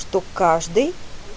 что каждый